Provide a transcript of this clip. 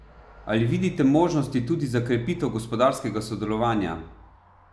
Ali vidite možnosti tudi za krepitev gospodarskega sodelovanja?